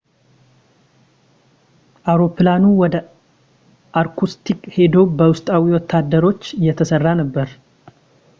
አውሮፕላኑ ወደ ኢርኩትስክ ሂዶ በውስጣዊ ወታደሮች እየተሰራ ነበር